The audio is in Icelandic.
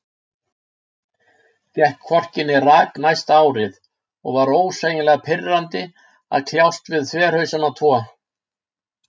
Gekk hvorki né rak næsta árið, og var ósegjanlega pirrandi að kljást við þverhausana tvo.